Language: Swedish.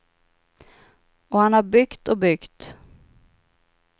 Och han har byggt och byggt.